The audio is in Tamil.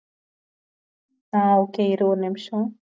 அஹ் okay இரு ஒரு நிமிஷம்